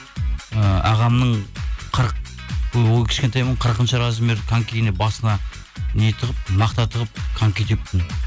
і ағамның қырық кішкентаймын ғой қырқыншы размер конькиіне басына не тығып мақта тығып коньки тептім